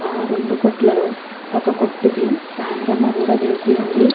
ఆ రెండు కొట్లలో ఒక కొట్టుకి కూడా వేసి ఉంది.